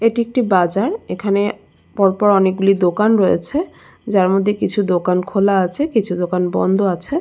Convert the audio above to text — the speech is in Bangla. এটি একটি বাজার এখানে পর পর অনেকগুলি দোকান রয়েছে যার মধ্যে কিছু দোকান খোলা আছে কিছু দোকান বন্ধ আছে।